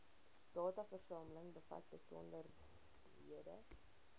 dataversameling bevat besonderhede